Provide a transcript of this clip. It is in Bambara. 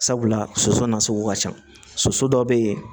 Sabula soso nasugu ka ca soso dɔ bɛ yen